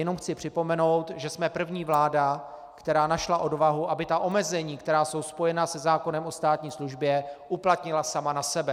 Jenom chci připomenout, že jsme první vláda, která našla odvahu, aby ta omezení, která jsou spojena se zákonem o státní službě, uplatnila sama na sebe.